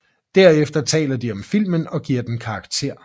Derefter taler de om filmen og giver den karakter